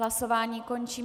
Hlasování končím.